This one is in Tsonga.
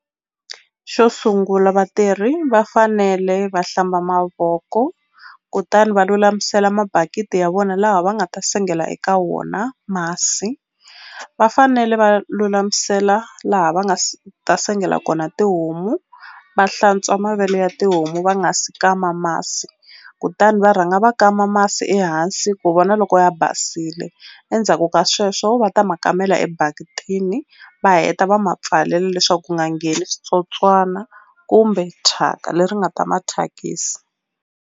Xo sungula vatirhi va fanele va hlamba mavoko kutani va lulamisela mabakiti ya vona laha va nga ta sengela eka wona masi va fanele va lulamisela laha va nga ta sengela kona tihomu va hlantswa mavele ya tihomu va nga si kama masi kutani va rhanga va kama masi ehansi ku vona loko ya basile endzhaku ka sweswo va ta ma kamela ebaketini va heta va ma pfalela leswaku ku nga ngheni switsotswana kumbe thyaka leri nga ta ma thyakisa.